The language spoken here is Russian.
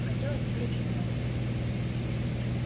хотелось выручить маму